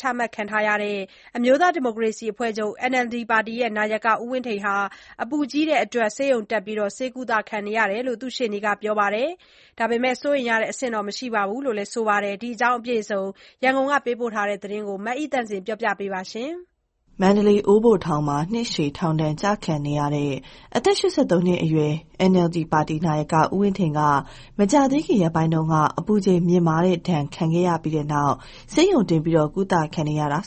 ချခံထားရတဲ့ အမျိုးသားဒီမိုကရေစီအဖွဲချုပ် (NLD) ပါတီ နာယက ဦးဝင်းထိန် အပူကြီးတဲ့အတွက် ဆေးရုံတက်ဆေးကုသနေရတယ်လို့ ရှေ့နေကပြောပါတယ်။ ဒါပေမဲ့လည်း စိုးရိမ်ရတဲ့ အဆင့်တော့ မရှိဘူးလို့လည်း ပြောပါတယ်။ ဒီအကြောင်း ရန်ကုန်က သတင်းပေးပို့ ထားတာကို မအိသန့်စင် ပြောပြပေးမှာပါ။ မန္တလေး အိုးဘိုထောင်မှာ နှစ်ရှည်ထောင်ဒဏ် ကျခံနေရတဲ့ အသက် ၈၃နှစ်အရွယ်ရှိနေတဲ့ NLD ပါတီ နာယက ဦးဝင်းထိန်ဟာ မကြာသေးခင်ရက်ပိုင်းက အပူချိန် မြင့်မားတဲ့ဒဏ် ခံခဲ့ရပြီးနောက် ဆေးရုံတင် ကုသခံနေရတာလို့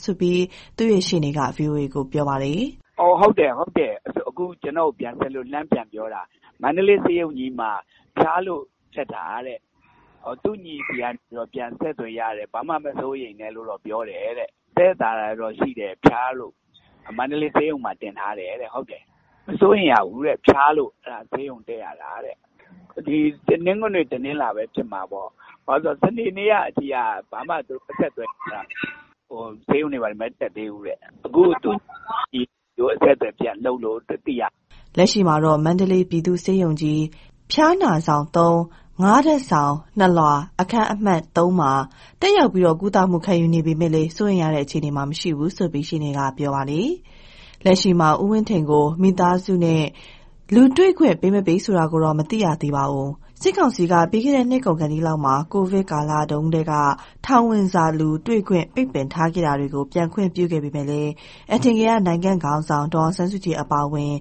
သူ့ရှေ့နေက ဗွီအိုအေကို ပြောပါတယ်။ "ဆေးရုံတက်တာဟုတ်တယ်။ခုဘဲကျနော်ကိုလှမ်းဆက်လို့ပြန်ပြောတာ။ မန္တလေးဆေးရုံကြီးမှာ တက်တာ။ သူ့ညီဆီကနေပြန်အဆက်အသွယ်ရတယ်။ ဘာမှမစိုးရိမ် နဲ့တော့ပြောတယ်။ သက်သက်သာသာတော့ရှိတယ်။ ဖျားတာမို့မန္တလေးဆေးရုံမှာတင်တာ။ မစိုးရိမ်ရဘူး။ ဘယ်နေ့ကလဲ ဆိုတော့ တနင်္ဂနွေ တနင်္လာမှာဖြစ်တာထင်တယ်။ စနေနေ့ကအထိက ဘာမှအဆက်အသွယ်မရသေးဘူး။ ဆေးရုံတွေဘာ တွေမတက်သေးဘူးတဲ့။ သူ့ညီကနေတ ဆင့်ဆက်သွယ်လို့သိရတာ။" လက်ရှိမှာတော့ မန္တလေး ပြည်သူ့ဆေးရုံကြီး ဖျားနာဆောင်(၃)၊(၅)ထပ်ဆောင်၊(၂) လွှာ၊အခန်းအမှတ် (၃) မှာ တက်ရောက် ကုသမှုခံယူနေပေမဲ့ စိုးရိမ်ရတဲ့အခြေအနေမှာမရှိဘူးလို့ ရှေ့နေကပြောပါတယ်။ လက်ရှိမှာ ဦးဝင်းထိန်ကိုမိသားစုနဲ့ တွေ့ ခွင့်ပေးမပေးဆိုတာကိုတော့ မသိရသေးပါဘူး။ စစ်ကောင်စီဘက်က ပြီးခဲ့တဲ့နှစ်ကုန်ခါနီးလောက်မှာ ကိုဗစ်ကာလကတည်းက ပိတ်ထားခဲ့တဲ့ ထောင်ဝင်စာလူတွေ့ခွင့်တွေပြန်ခွင့်ပြုခဲ့ပေမဲ့ အထင်ကရ နိုင်ငံခေါင်းဆောင် ဒေါ်အောင်ဆန်းစုကြည်အပါ အဝင်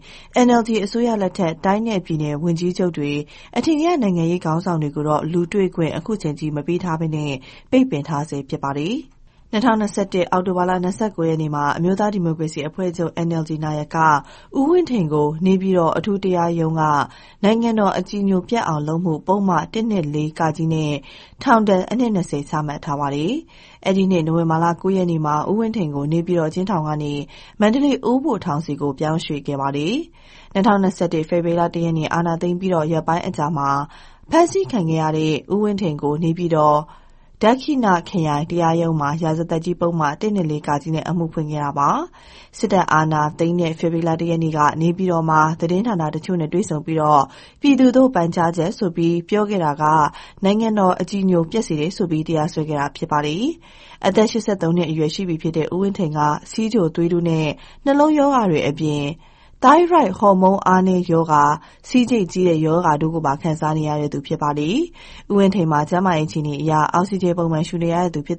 NLD အစိုးရလက်ထက် တိုင်းနဲ့ပြည်နယ် ဝန်ကြီးချုပ်တွေ၊ အထင်ကရနိုင်ငံရေးခေါင်းဆောင်တွေကိုတော့ လူတွေ့ ခွင့် အခုချိန်ထိမပေးသေးဘဲ ပိတ်ပင်ထားဆဲရှိပါတယ်။ ၂၀၂၁ အောက်တိုဘာ ၂၉ ရက်မှာ အမျိုးသားဒီမိုကရေစီအဖွဲ့ချုပ် (NLD) နာယက ဦးဝင်းထိန်ကို နေပြည်တော် အထူးတရားရုံးက နိုင်ငံတော်အကြည်ညိုပျက်အောင်လုပ်မှု ပုဒ်မ ၁၂၄ - ကနဲ့ထောင်ဒဏ်အနှစ် ၂၀ ချမှတ်ထားတာပါ။ အဲဒီနှစ် နိုဝင်ဘာ ၉ ရက် မှာတော့ ဦးဝင်းထိန်ကို နေပြည်တော်အကျဉ်းထောင်ကနေ မန္တလေးအိုးဘိုထောင်ကို ပြောင်းရွှေ့ခဲ့တာဖြစ်ပါတယ်။ ၂၀၂၁၊ ဖေဖော်ဝါရီ ၁ ရက်နေ့ အာဏာသိမ်းပြီး ရက်ပိုင်းအကြာမှာ ဖမ်းဆီးခံခဲ့ရတဲ့ ဦးဝင်းထိန်ကို နေပြည်တော် ဒက္ခိဏ ခရိုင်တရားရုံးမှာ ရာဇသတ်ကြီး ပုဒ်မ ၁၂၄-က နဲ့ အမှုဖွင့်ခဲ့တာဖြစ်ပါတယ်။ စစ်တပ်အာဏာသိမ်းတဲ့ ဖေဖော်ဝါရီ ၁ ရက်က နေပြည်တော်မှာ သတင်းဌာနတချိုနဲ့တွေ့ဆုံပြီး “ပြည်သူသို့ပန်ကြားချက်” ဆိုပြီး ပြောခဲ့တာက နိုင်ငံတော်အကြည်ညို ပျက်စေတယ်ဆိုပြီး တရားစွဲခဲ့တာပါ။ အသက် ၈၃ ရှိပြီဖြစ်တဲ့ ဦးဝင်းထိန်ဟာ ဆီးချို၊ သွေးတိုးနဲ့ နှလုံးရောဂါတွေအပြင် သိုင်းရွိုက်ဟော်မုန်းအားနည်းရောဂါ၊ ဆီးကျိတ်ကြီးရောဂါတို့ပါ ခံစားနေရသူဖြစ်ပါတယ်။ ဦးဝင်းထိန်မှာ ကျန်းမာရေးအခြေအနေအရ အောက်ဆီဂျင် ပုံမှန်ရှူနေရသူဖြစ်